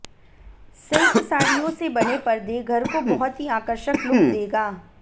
silk साड़ियों से बने पर्दे घर को बहुत ही आकर्षक लुक देगा